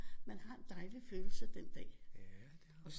Man har en dejlig følelse den dag